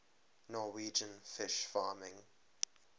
norwegian fish farming